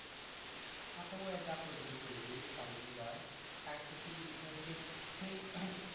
হ্যাঁ তো উ যা করবি করবি তার লেগে লয়। আরেকটা কি বলছিলাম? যে সেই